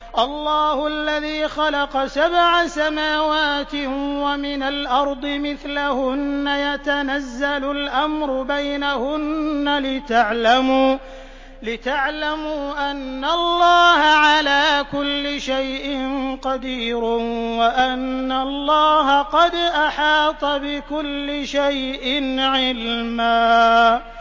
اللَّهُ الَّذِي خَلَقَ سَبْعَ سَمَاوَاتٍ وَمِنَ الْأَرْضِ مِثْلَهُنَّ يَتَنَزَّلُ الْأَمْرُ بَيْنَهُنَّ لِتَعْلَمُوا أَنَّ اللَّهَ عَلَىٰ كُلِّ شَيْءٍ قَدِيرٌ وَأَنَّ اللَّهَ قَدْ أَحَاطَ بِكُلِّ شَيْءٍ عِلْمًا